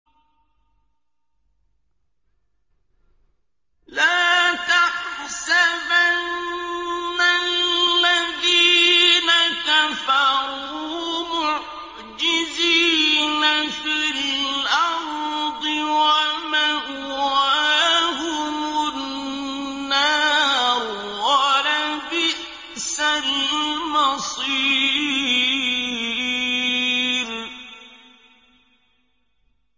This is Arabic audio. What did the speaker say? لَا تَحْسَبَنَّ الَّذِينَ كَفَرُوا مُعْجِزِينَ فِي الْأَرْضِ ۚ وَمَأْوَاهُمُ النَّارُ ۖ وَلَبِئْسَ الْمَصِيرُ